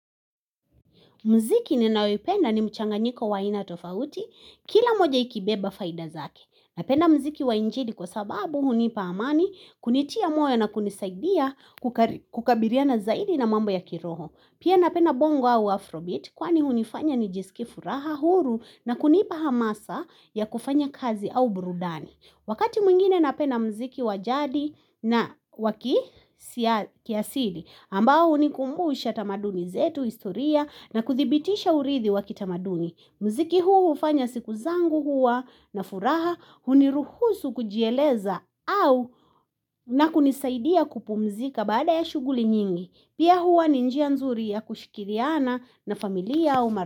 Mziki ninayoipenda ni mchanganyiko wa aina tofauti, kila moja ikibeba faida zake. Napenda mziki wa injili kwa sababu hunipa amani kunitia moyo na kunisaidia kukabiriana zaidi na mambo ya kiroho. Pia napenda bongo au afrobeat kwani hunifanya nijiskie furaha huru na kunipa hamasa ya kufanya kazi au burudani. Wakati mwingine napenda mziki wa jadi na waki kiasili ambao hunikumbusha tamaduni zetu historia na kuthibitisha urithi waki tamaduni. Mziki huu hufanya siku zangu hua na furaha huniruhusu kujieleza au na kunisaidia kupumzika baada ya shughuli nyingi. Pia hua ni njia nzuri ya kushikiriana na familia au mara.